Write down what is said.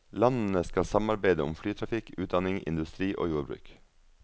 Landene skal samarbeide om flytrafikk, utdanning, industri og jordbruk.